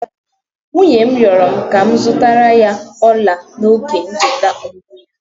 Nwunye m rịọrọ m ka m zụtara ya ọla n'oge ncheta ọmụmụ ya.